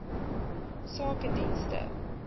sakedienste